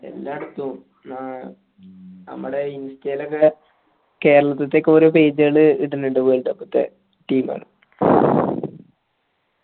എല്ലാടത്തും ന്നാ നമ്മളെ insta യിലൊക്കെ കേരളത്തിത്തൊക്കെ ഓരോ page ൾ ഇടുന്നുണ്ട് ഓരോ world cup ത്തെ team ൾ